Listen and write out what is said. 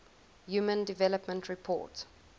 human development report